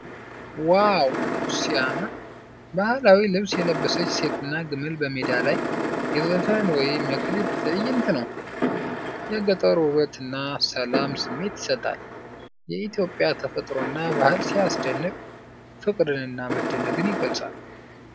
ዋው ሲያምር! ባህላዊ ልብስ የለበሰች ሴትና ግመል በሜዳ ላይ። የዘፈን ወይም የክሊፕ ትዕይንት ነው። የገጠር ውበት እና ሰላም ስሜት ይሰጣል። የኢትዮጵያ ተፈጥሮና ባህል ሲያስደንቅ! ፍቅርንና መደነቅን ይገልጻል።